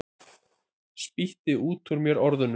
Spýti út úr mér orðunum.